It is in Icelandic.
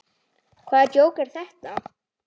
Hvaða djók er þetta?